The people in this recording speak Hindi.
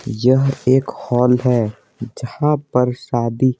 यह एक हॉल है जहाँ पर शादी--